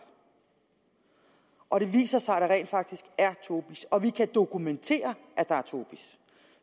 og hvis det viser sig at der rent faktisk er tobis og at vi kan dokumentere at der er tobis